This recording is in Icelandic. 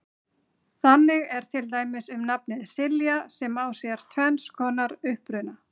Þannig er til dæmis um nafnið Silja sem á sér tvenns konar uppruna.